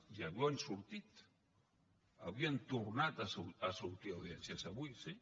i avui han sortit avui han tornat a sortir audiències avui sí